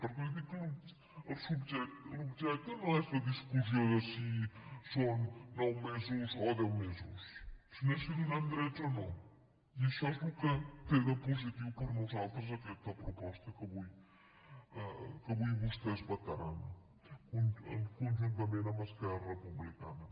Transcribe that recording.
perquè li dic que l’objecte no és la discussió de si són nou mesos o deu mesos sinó que és si donem drets o no i això és el que té de positiu per nosaltres aquesta proposta que avui vostès vetaran conjuntament amb esquerra republicana